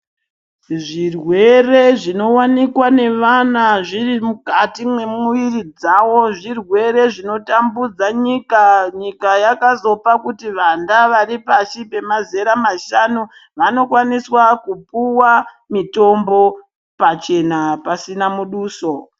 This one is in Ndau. Zvirwere zvinowanikwa nevana zviri mukati memwiri dzawo zvirwere zvinotambudza nyika nyika yakazopa vanda varipashi pezera mashanu vanokwanisa kupuwa mutombo pachena pasina muduso.